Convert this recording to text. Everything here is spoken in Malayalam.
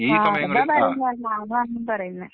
ആ അതന്നെ പറയുന്നേ ഞാനും അതന്നെ പറയുന്നേ.